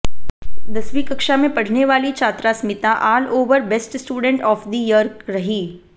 दसवीं कक्षा में पढ़ने वाली छात्रा Smita all over best student of the year रही